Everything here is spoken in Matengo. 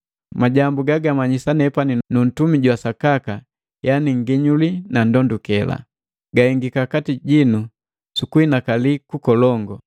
Majambu gagumanyisa nepani nu ntumi jwa sakaka yani nginyuli na ndondukela. Gahengika kati jinu sukuhinakali kukolongu,